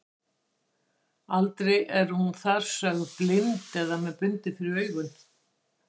Aldrei er hún þar sögð blind eða með bundið fyrir augun.